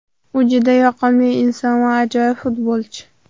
U juda yoqimli inson va ajoyib futbolchi.